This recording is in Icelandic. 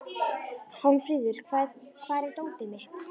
Hjálmfríður, hvar er dótið mitt?